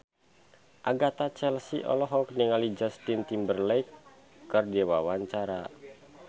Agatha Chelsea olohok ningali Justin Timberlake keur diwawancara